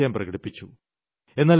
അവർ സംശയം പ്രകടിപ്പിച്ചു